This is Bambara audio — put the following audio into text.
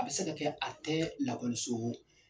A bɛ se ka kɛ a tɛ .